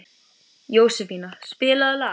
Jósefína, spilaðu lag.